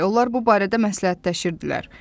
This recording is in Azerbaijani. Onlar bu barədə məsləhətləşirdilər.